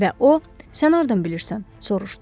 Və o: Sən hardan bilirsən?